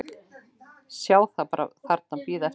Sjá það bíða þarna eftir henni.